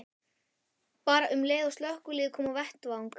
Bara um leið og slökkviliðið kom á vettvang.